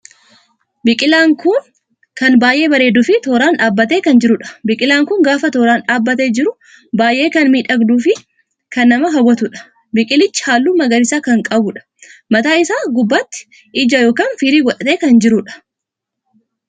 Biqilaan kun kan baay'ee bareeduu fi tooraan dhaabbattee kan jiruudha. biqilaan kun gaafa tooraan dhaabbattee jiru baay'ee kan miidhagduuf kan nama hawwatuudha. biqilichi halluu magariisa kan qabuudha. mataa isaa gubbaatti ija ykn firii godhatee kan jirudha